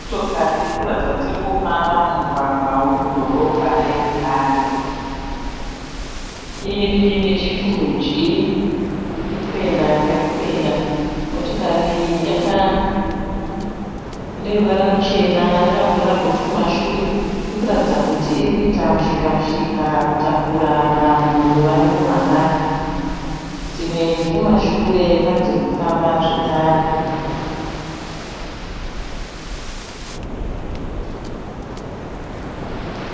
Motokari irikuratidza kuti irikufamba mumugwagwa wedhorobha reHarare. Iri nechekurudyi, irikuenda kwairikuenda. Motokari iyi ineruvara rwuchena, yakavhura bhutu kumashure. Irikuratidza kuti irikuita mushika mushika kutakura vanhu vari muHarare. Dzimwe dzirikumashure pane dzirikufamba zvekare.